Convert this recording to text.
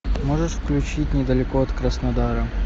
можешь включить недалеко от краснодара